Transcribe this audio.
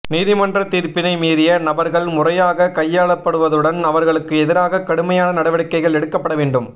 நீதிமன்ற தீர்ப்பினை மீறிய நபர்கள் முறையாக கையாளப்படுவதுடன் அவர்களுக்கு எதிராக கடுமையான நடவடிக்கைகள் எடுக்கப்பட வேண்டும்